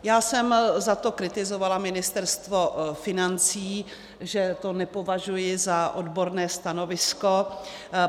Já jsem za to kritizovala Ministerstvo financí, že to nepovažuji za odborné stanovisko.